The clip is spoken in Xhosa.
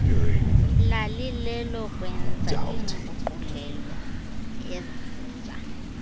lalilelokwenza iinguqulelo eziza